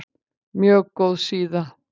Mjög góð síða